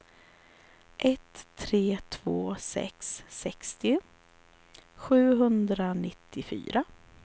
ett tre två sex sextio sjuhundranittiofyra